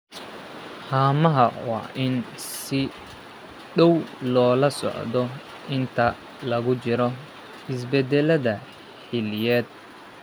Haamaha waa in si dhow loola socdo inta lagu jiro isbedelada xilliyeed.